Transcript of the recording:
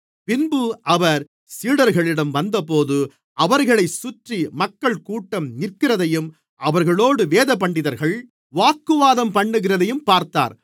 பின்பு அவர் சீடர்களிடம் வந்தபோது அவர்களைச் சுற்றி மக்கள்கூட்டம் நிற்கிறதையும் அவர்களோடு வேதபண்டிதர்கள் வாக்குவாதம்பண்ணுகிறதையும் பார்த்தார்